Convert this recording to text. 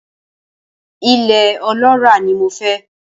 Ilẹ̀ ọlọ́ràá ni mo fẹ́.